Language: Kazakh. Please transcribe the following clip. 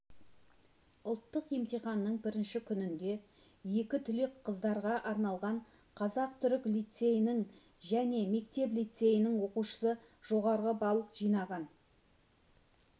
ұлттық емтиханның бірінші күнінде екі түлек қыздарға арналған қазақ-түрік лицейінің және мектеп-лицейінің оқушысы жоғары балл жинаған